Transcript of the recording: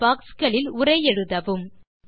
இந்த பாக்ஸ் களில் உரை எழுதவும்